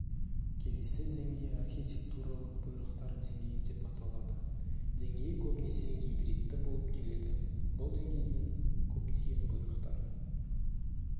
келесі деңгей архитектуралық бұйрықтар деңгейі деп аталады деңгей көбінесе гибридті болып келеді бұл деңгейдің көптеген бұйрықтары